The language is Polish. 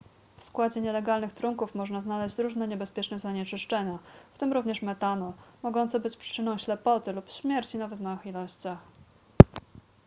w składzie nielegalnych trunków można znaleźć różne niebezpieczne zanieczyszczenia w tym również metanol mogące być przyczyną ślepoty lub śmierci nawet w małych ilościach